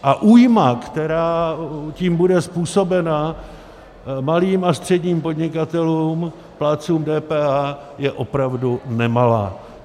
A újma, která tím bude způsobena malým a středním podnikatelům, plátcům DPH, je opravdu nemalá.